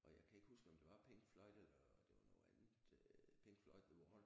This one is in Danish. Og jeg kan ikke huske om det var Pink Floyd eller det var noget andet øh Pink Floyd The Wall